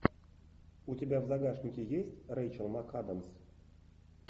у тебя в загашнике есть рэйчел макадамс